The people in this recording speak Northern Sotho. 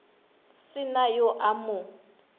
se na yo a mo